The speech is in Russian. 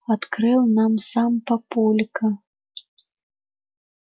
открыл нам сам папулька